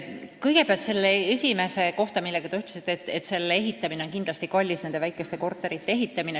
Kõigepealt selle esimese asja kohta, mis te mainisite, ütlen, et väikeste korterite ehitamine on kindlasti kallis.